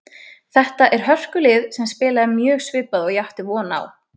Þetta er hörkulið sem spilaði mjög svipað og ég átti von á.